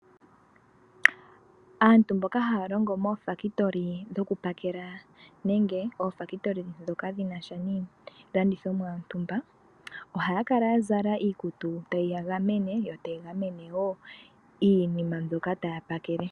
Aantu mboka haya longo moofambulika dhoku pakela nenge oofambulika dhoka dhi nasha niilandithomwa yontumba, ohaya kala ya zala iikutu tayi ya gamene yo tayi gamene wo iinima mbyoka taya pakele.